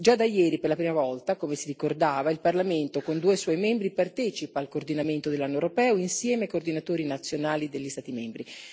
Già da ieri, per la prima volta, come si ricordava, il Parlamento con due suoi membri partecipa al coordinamento dell'Anno europeo insieme ai coordinatori nazionali degli Stati membri.